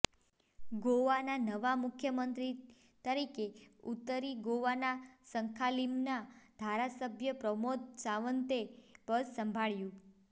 ગોવાના નવા મુખ્યમંત્રી તરીકે ઉતરી ગોવાના સંખાલીમના ધારાસભ્ય પ્રમોદ સાવંતે પદ સંભાળ્યું